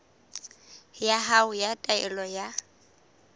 ya hao ya taelo ya